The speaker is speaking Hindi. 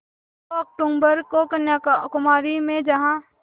दो अक्तूबर को कन्याकुमारी में जहाँ